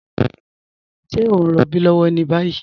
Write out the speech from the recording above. Ṣẹ̀ o n rọ̀bí lọ́wọ́ ni bayi?